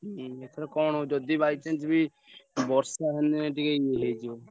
ହୁଁ ଏଥର କଣ ହଉଛି ଯଦି by chance ବି ବର୍ଷା ହେଲେ ଟିକେ ଇଏ ହେଇଯିବ।